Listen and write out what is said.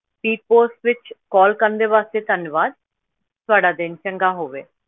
Speed post ਵਿੱਚ call ਕਰਨ ਦੇ ਵਾਸਤੇ ਧੰਨਵਾਦ, ਤੁਹਾਡਾ ਦਿਨ ਚੰਗਾ ਹੋਵੇ।